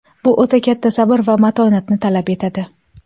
Bu o‘ta katta sabr va matonatni talab etadi.